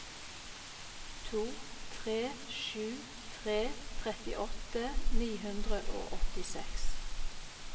to tre sju tre trettiåtte ni hundre og åttiseks